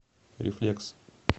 рефлекс